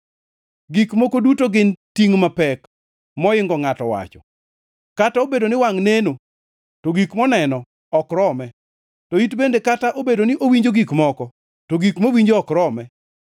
Gik moko duto gin tingʼ mapek, moingo ngʼato wacho. Kata obedo ni wangʼ neno, to gik moneno ok rome, to it bende kata obedo ni owinjo gik moko, to gik mowinjo ok rome.